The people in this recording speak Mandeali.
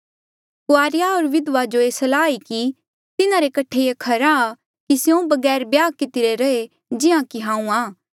कुआरेया होर विधवा जो मेरी सलाह ये ई कि तिन्हारे कठे ये खरा आ कि स्यों बगैर ब्याह कितिरे रहे जिहां जे हांऊँ आं